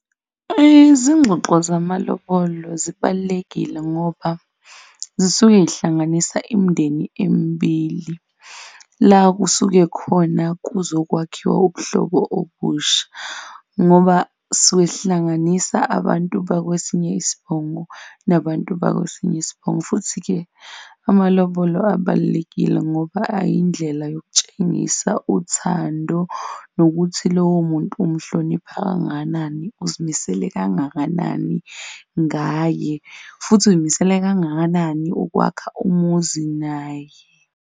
Izingxoxo zamalobolo zibalulekile ngoba zisuke yihlanganisa imindeni emibili, la okusuke khona kuzokwakhiwa ubuhlobo obusha ngoba sisuke sihlanganisa abantu bakwesinye isibongo nabantu bakwesinye isibongo. Futhi-ke amalobolo abalulekile ngoba ayindlela yokutshengisa uthando nokuthi lowo muntu umhlonipha kangakanani, uzimisele kangakanani ngaye futhi uy'misele kangakanani ukwakha umuzi naye.